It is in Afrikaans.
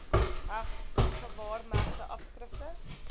heg gewaarmerkte afskrifte